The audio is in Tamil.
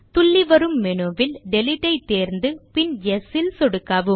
துள்ளி வரும் மெனுவில் டிலீட் ஐ தேர்ந்து பின் யெஸ் ல் சொடுக்கவும்